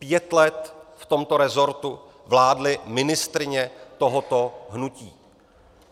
Pět let v tomto rezortu vládly ministryně tohoto hnutí.